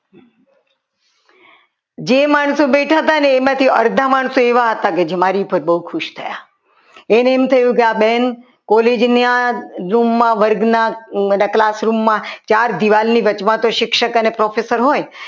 જે માણસો બેઠા હતા ને એમાંથી અડધા માણસો એવા હતા જે મારી ઉપર બહુ ખુશ થયા એને એમ થયું કે આ બેન college ના room માં વર્ગમાં એટલે classroom માં ચાર દીવાલની વચમાં તો શિક્ષક અને professor હોય